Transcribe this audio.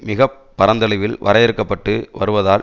மிக பரந்தளவில் வரையறுக்கப்பட்டு வருவதால்